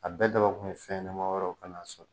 A bɛɛ dabɔ kun ye fɛn ɲɛnɛma wɛrɛw kana